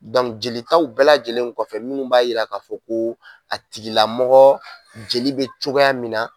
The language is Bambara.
jelitaw bɛɛ lajɛlen kɔfɛ, minnu b'a yira k'a fɔ ko a tigilamɔgɔ jeli bɛ cogoya min na,